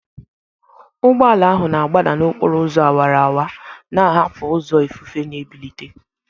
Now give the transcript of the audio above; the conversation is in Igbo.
Ụgbọ ala ahụ na-agbada n'okporo ụzọ awara awara, na-ahapụ ụzọ ifufe na-ebilite.